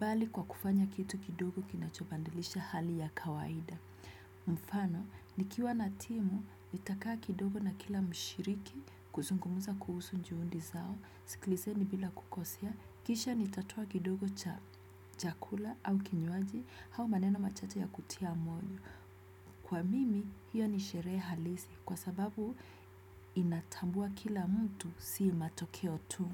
bali kwa kufanya kitu kidogo kinachobadilisha hali ya kawaida. Mfano, nikiwa na timu, nitakaa kidogo na kila mshiriki, kuzungumza kuhusu juhudi zao, sikilizeni bila kukosea, kisha nitatoa kidogo cha kula au kinywaji, au maneno machache ya kutia moyo. Kwa mimi, hiyo ni sherehe halisi kwa sababu inatambua kila mtu si matokeo tu.